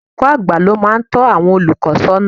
Olùkọ́ àgbà ni ó máa ń tọ́ àwọn olùkọ́ sọ́nà